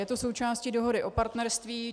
Je to součástí Dohody o partnerství.